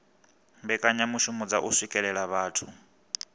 mbekanyamishumo dza u swikelela vhathu